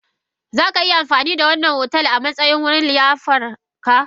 Za ka yi amfani da wannan otal a matsayin wurin liyafar ka?